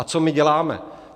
A co my děláme?